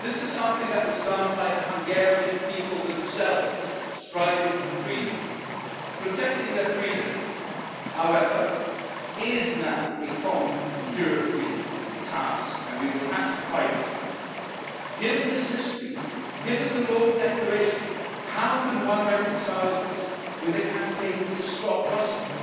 for. This is something that was done by the Hungarian people themselves striving for freedom, protecting their freedom, however, it is now a common European task and we will have to fight for that. Given this history, given the Rome Declaration, how can one reconcile this with a campaign to stop